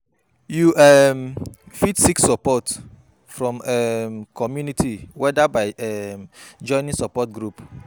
You um fit seek support from di um community whether by um joining support group.